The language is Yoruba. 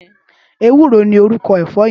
Éwùró ni órúkò èfò yèn